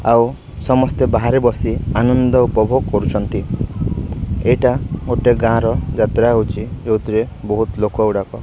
ଆଉ ସମସ୍ତେ ବାହାରେ ବସି ଆନନ୍ଦ ଉପଭୋଗ କରୁଛନ୍ତି ଏଇଟା ଗୋଟେ ଗାଁ ର ଯାତ୍ରା ହଉଚି ଯୋଉଥିରେ ବହୁତ ଲୋକ ଗୁଡ଼ାକ।